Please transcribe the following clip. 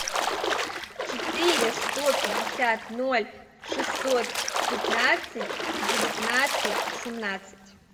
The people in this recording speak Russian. четыре сто пятьдесят ноль шестьсот пятнадцать девятнадцать семнадцать